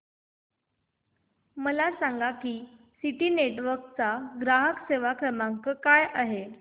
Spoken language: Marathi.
मला सांगा की सिटी नेटवर्क्स चा ग्राहक सेवा क्रमांक काय आहे